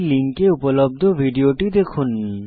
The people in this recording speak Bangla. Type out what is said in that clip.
এই লিঙ্কে উপলব্ধ ভিডিওটি দেখুন